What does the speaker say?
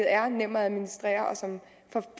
er nem at administrere og som får